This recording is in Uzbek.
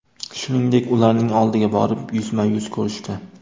Shuningdek, ularning oldiga borib, yuzma-yuz ko‘rishdi.